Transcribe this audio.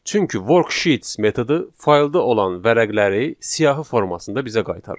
Çünki worksheet metodu faylda olan vərəqləri siyahı formasında bizə qaytarır.